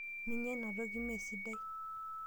Minya ina toki mee sidai.